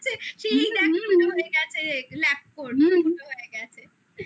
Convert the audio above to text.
তখন তো মানে এটা নিয়ে তো কি মজা মানে সে ইচ্ছা করে পারলে কেউ গায়ে ঢেলে নিতো মনে আছে? lab করবে